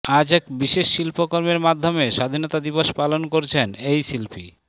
আজ এক বিশেষ শিল্পকর্মের মাধ্যমে স্বাধীনতা দিবস পালন করছেন এই শিল্পী